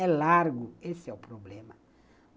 É largo, esse é o problema.